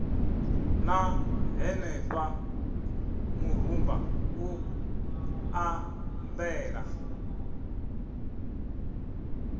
ṋna henefha murumba u ṱambela